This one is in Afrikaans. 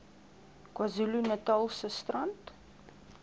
kwazulu natalse strand